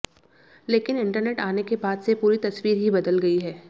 लेकिन इंटरनेट आने के बाद से पूरी तस्वीर ही बदल गई है